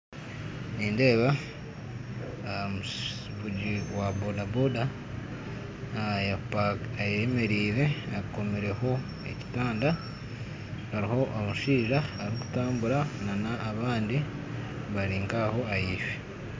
Nindeeba omuvugi wa bodaboda ayemeriire akomireho ekitanda hariho omushaija arikutambura na n'abandi bali nkaaho ahaifo